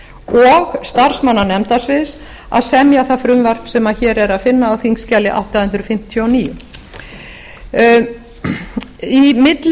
og starfsmanna nefndasviðs að semja það frumvarp sem hér að finna á þingskjali átta hundruð fimmtíu og níu